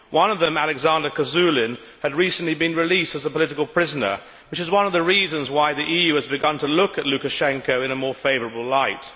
One of them, Alexander Kazulin, had recently been released as a political prisoner, which is one of the reasons why the EU has begun to look at Lukashenko in a more favourable light.